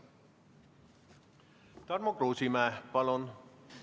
Tarmo Kruusimäe, palun!